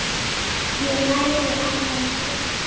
Ég læri af þessu.